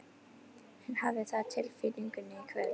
Ég hafði það á tilfinningunni í kvöld.